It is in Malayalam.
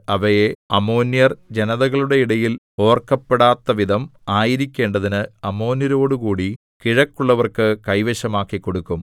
അവയെ അമ്മോന്യർ ജനതകളുടെ ഇടയിൽ ഓർക്കപ്പെടാത്തവിധം ആയിരിക്കേണ്ടതിന് അമ്മോന്യരോടുകൂടി കിഴക്കുള്ളവർക്ക് കൈവശമാക്കിക്കൊടുക്കും